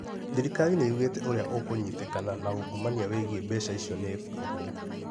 Thirikari nĩyugte ũrĩa ukũnyitĩkana na ũngumania wĩgĩi mbeca icio nĩ ekwohwo.